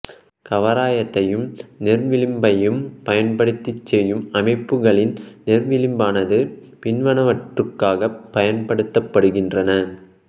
கவராயத்தையும் நேர்விளிம்பையும் பயன்படுத்திச் செய்யும் அமைப்புகளில் நேர்விளிம்பானது பின்வருவனவற்றுக்காகப் பயன்படுத்தப்படுகின்றது